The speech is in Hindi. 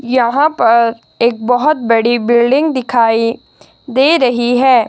यहां पर एक बहोत बड़ी बिल्डिंग दिखाई दे रही है।